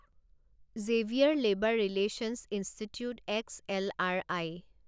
Xavier Labour Relations Institute X L R I